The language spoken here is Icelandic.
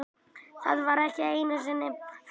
Það var ekki einusinni fallegt.